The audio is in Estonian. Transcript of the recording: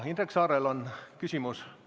Indrek Saarel on küsimus.